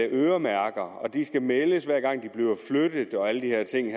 øremærker på og at det skal meldes hver gang de bliver flyttet og alle de her ting